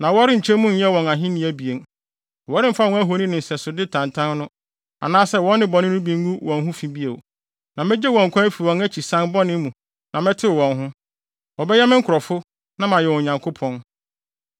Wɔremfa wɔn ahoni ne nsɛsode tantan no, anaasɛ wɔn nnebɔne no mu bi ngu wɔn ho fi bio, na megye wɔn nkwa afi wɔn akyirisan bɔne mu na mɛtew wɔn ho. Wɔbɛyɛ me nkurɔfo na mayɛ wɔn Nyankopɔn.